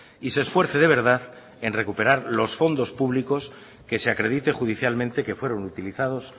y se esfuerce de verdad en recuperar los fondos públicos que se acredite judicialmente que fueron utilizados